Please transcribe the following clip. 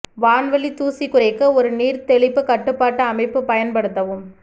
வான்வழி தூசி குறைக்க ஒரு நீர் தெளிப்பு கட்டுப்பாட்டு அமைப்பு பயன்படுத்தவும்